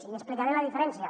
i explicaré la diferència